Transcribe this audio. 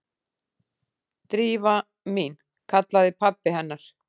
Drífa mín- kallaði pabbi hennar.